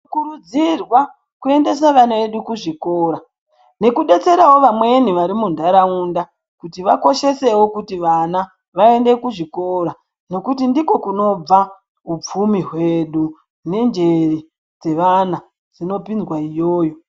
Tinokurudzirwa kuendese vana vedu kuzvikora, nekudetserawo vamweni varimundarawunda kuti vakoshesewo kuti vana vaende kuzvikora nokuti ndiko kunobva hupfumi hwedu nenjere dzevana dzinopindzwa iyoyo.